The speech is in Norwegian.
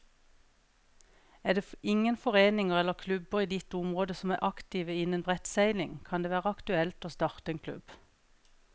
Er det ingen foreninger eller klubber i ditt område som er aktive innen brettseiling, kan det være aktuelt å starte en klubb.